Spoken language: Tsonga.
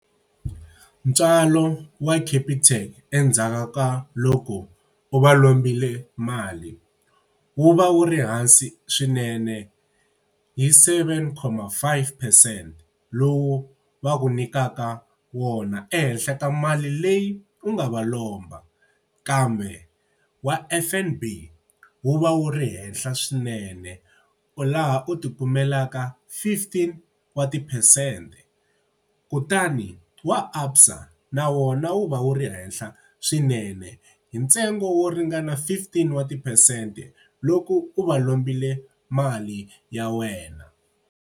Ntswalo wa Capitec endzhaku ka loko u va lombile mali, wu va wu ri hansi swinene yi seven comma five percent lowu va ku nyikaka wona, ehenhla ka mali leyi u nga va lomba. Kambe wa F_N_B wu va wu ri henhla swinene. Laha u tikumelaka fifteen wa tiphesente, kutani wa ABSA na wona wu va wu ri henhla swinene hi ntsengo wo ringana fifteen wa tiphesente loko u va lombile mali ya wena.